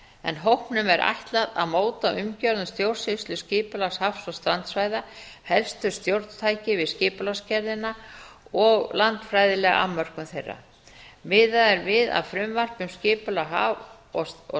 en hópnum er ætlað að móta umgjörð um stjórnsýslu skipulags haf og strandsvæða helstu stjórntæki við skipulagsgerðina og landfræðilega afmörkun þeirra miðað er við að frumvarp um skipulag haf og